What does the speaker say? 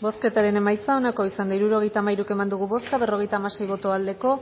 bozketaren emaitza onako izan da hirurogeita hamairu eman dugu bozka berrogeita hamasei boto aldekoa